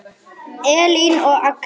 Elín og Agnar.